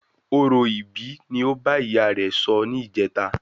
Orò ìbí ni ó bá ìyá rẹ sọ ni ìjeta